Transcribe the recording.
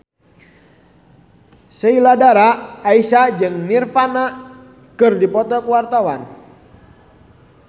Sheila Dara Aisha jeung Nirvana keur dipoto ku wartawan